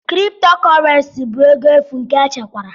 Kriptokorenci bụ ego efu nke echekwara.